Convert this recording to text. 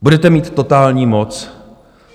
Budete mít totální moc.